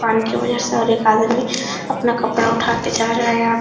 पानी के वजह से और एक आदमी अपना कपड़ा उठा के जा रहा है यहाँ --